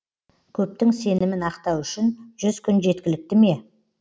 көптің сенімін ақтау үшін жүз күн жеткілікті ме